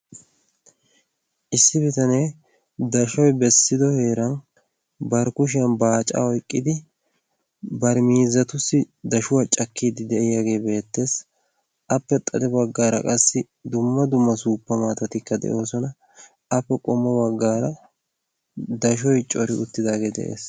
Issi bitanee dashshoy bessido heeran bari kushiyaan baaccaa oykkidi bar miizzatuyyo dashshsuwaa cakkide de'iyaagee beettees. appe miyye baggar dumma dumma suuppa maatatikka de'oosona. appe qommo baggara dashshoy cori uttidaagee de'ees.